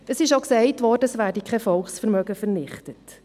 Es wurde auch gesagt, es werde kein Volksvermögen vernichtet.